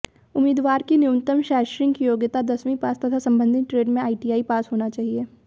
उम्मीदवार की न्यूनतम शैक्षणिक योग्यता दसवीं पास तथा संबंधित ट्रेड में आईटीआई पास होना चाहिए